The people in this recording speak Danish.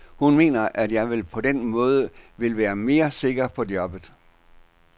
Hun mener, at jeg på den måde vil være mere sikker i jobbet.